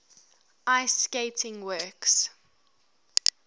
ice skating works